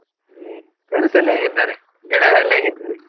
ಹ್ಮ್ friends ಎಲ್ಲಾ ಹೇಗಿದ್ದಾರೆ? ಹೇಗಿದ್ದಾರೆ?